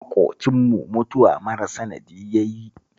Maƙocinmu mutuwa mara sanadi ya yi